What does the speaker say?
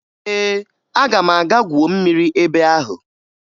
Ee, aga m aga gwuo mmiri ebe ahụ